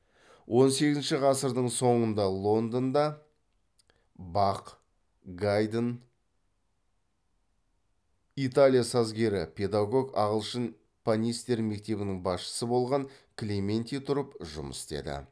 он сегізінші ғасырдың соңында лондонда бах гайдн италия сазгері педагог ағылшын панистер мектебінің басшысы болған клементи тұрып жұмыс істеді